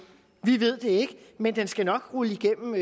vi ved det ikke men den skal nok rulle igennem